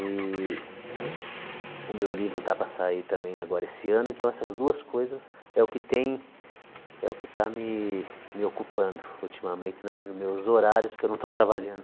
E o meu livro está para sair também agora esse ano, então essas duas coisas é o que tem, é o que está me me ocupando ultimamente nos meus horários, que eu não estou trabalhando.